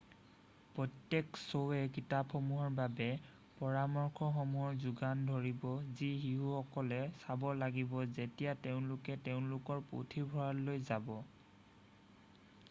প্ৰত্যেক শ্ব'য়ে কিতাপসমূহৰ বাবে পৰামৰ্শসমূহৰ যোগান ধৰিব যি শিশুসকলে চাব লাগিব যেতিয়া তেওঁলোকে তেওঁলোকৰ পুথিভঁৰাললৈ যাব৷